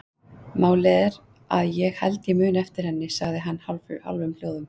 Málið er að ég held ég muni eftir henni, sagði hann í hálfum hljóðum.